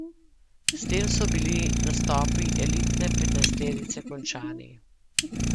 S tem so bili nastopi elitne petnajsterice končani.